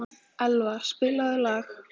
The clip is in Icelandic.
Elva, spilaðu lag.